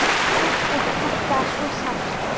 Samt er þetta svo sárt.